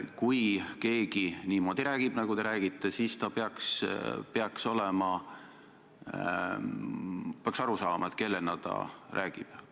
Kui keegi niimoodi räägib, nagu te räägite, siis ta peaks aru saama, kellena ta räägib.